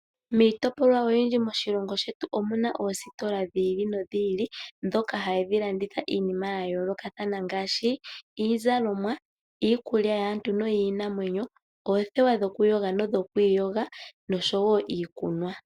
Miitopolwa oyindji moshilongo shetu omuna oositola dhi ili nodhi ili ndhoka hadhi landitha iinima ya yoolokathana ngaashi iizalomwa, iikulya yaantu noyiinanwenyo, oothewa dhokuyoga nodhoku iyoga nosho woo iikunwa.